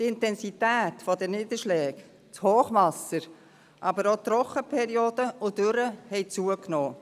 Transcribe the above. Die Intensität der Niederschläge, das Hochwasser, aber auch Trockenperioden und Dürren haben zugenommen.